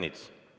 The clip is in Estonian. Härra Ernits!